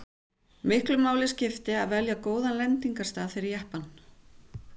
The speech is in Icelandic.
Miklu máli skipti að velja góðan lendingarstað fyrir jeppann.